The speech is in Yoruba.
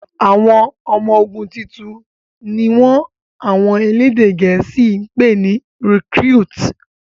àwọn ọmọ ogun títún ní wón àwọn elédè gèésì pé ní "recruit".